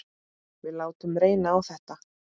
Við látum reyna á þetta.